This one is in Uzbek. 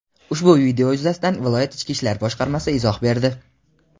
Ushbu video yuzasidan viloyat Ichki ishlar boshqarmasi izoh berdi.